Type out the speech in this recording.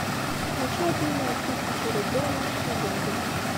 хочу обменять тысячу рублей на шиллинги